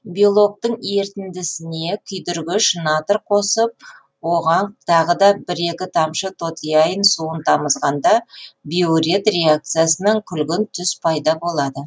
белоктің ертіндісіне күйдіргіш натр қосып оған тағы да бір екі тамшы тотияйын суын тамызғанда биурет реакциясынан күлгін түс пайда болады